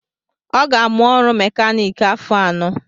ọ ga-amụ ọrụ mèkánik afọ anọ